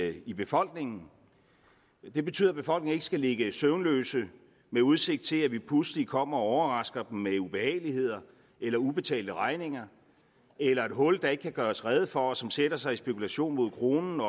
i befolkningen det betyder at befolkningen ikke skal ligge søvnløs med udsigt til at vi pludselig kommer og overrasker dem med ubehageligligheder eller ubetalte regninger eller et hul som der ikke kan gøres rede for og som sætter sig i spekulation mod kronen